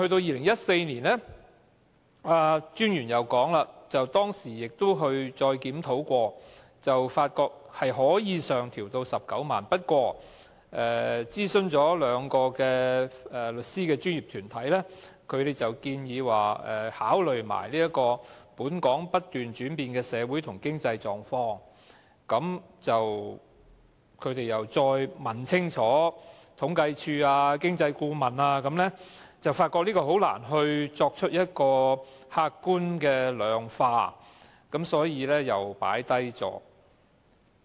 專員又表示，在2014年曾經進行檢討，發覺款額可以上調至19萬元，不過，經諮詢兩個律師的專業團體，它們建議一併考慮"本港不斷轉變的社會和經濟狀況"，而經諮詢清楚政府統計處和政府經濟顧問之後，發現難以客觀地量化，於是又擱置了調整款額。